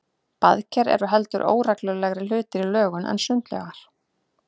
Baðker eru heldur óreglulegri hlutir í lögun en sundlaugar.